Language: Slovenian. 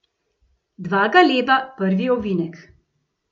Dva galeba, prvi ovinek.